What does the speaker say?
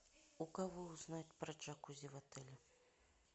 у кого узнать про джакузи в отеле